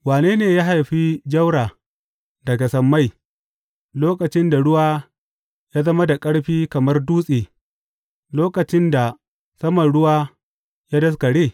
Wane ne ya haifi jaura daga sammai lokacin da ruwa ya zama da ƙarfi kamar dutse, lokacin da saman ruwa ya daskare?